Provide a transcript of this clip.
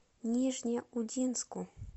нижнеудинску